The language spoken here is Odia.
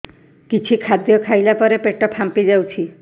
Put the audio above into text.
କିଛି ଖାଦ୍ୟ ଖାଇଲା ପରେ ପେଟ ଫାମ୍ପି ଯାଉଛି